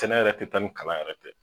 Sɛnɛ yɛrɛ tɛ taa ni kalan yɛrɛ tɛ